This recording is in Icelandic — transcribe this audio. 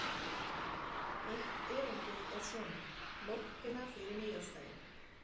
Eitt erindið er svona: Nóttina fyrir nýársdaginn